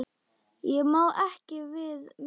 Ég má ekki við miklu.